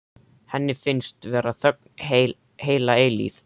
Henni finnst vera þögn heila eilífð.